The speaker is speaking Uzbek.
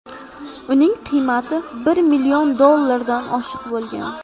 Uning qiymati bir million dollardan oshiq bo‘lgan.